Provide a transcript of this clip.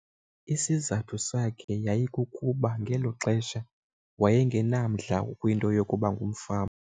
Isizathu sakhe yayikukuba ngelo xesha waye ngenamdla kwinto yokuba ngumfama.